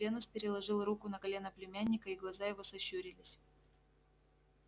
венус переложил руку на колено племянника и глаза его сощурились